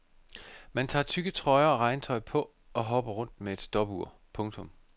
Man tager tykke trøjer og regntøj på og hopper rundt med et stopur. punktum